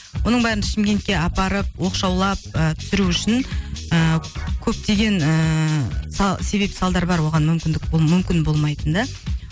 оның бәрін шымкентке апарып оқшаулап ы түсіру үшін ыыы көптеген ііі себеп салдар бар оған мүмкіндік мүмкін болмайтын да